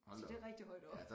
Så det rigtig højt oppe